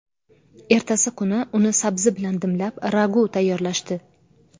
Ertasi kuni uni sabzi bilan dimlab, ragu tayyorlashdi.